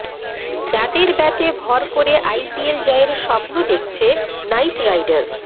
যাঁদের ব্যাটে ভর করে আইপিএল জয়ের স্বপ্ন দেখছে নাইট রাইডার্স